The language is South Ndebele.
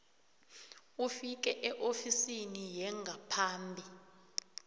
ufike eofisini yengaphambi